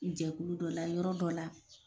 Jɛkulu dɔ la yɔrɔ dɔ la